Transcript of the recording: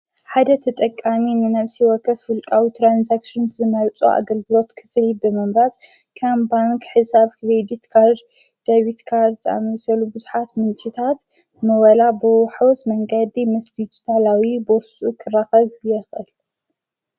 ሓደ ተጠቃኒ ንነሲ ወከፍ ፍልቃዊ ተራንሳክስን ዝመልጹ ኣገልግሎት ክፍል ብመምራጽ ካም ባንክ ሕሳብ ክቤዲት ቃድ ደብት ካርድ ፃመሴሉ ብዙኃት ምንጭታት መወላ ብኅወስ መንቀዲ ምስ ቢዱታላዊ በሱ ኽራኸቡ የኽል።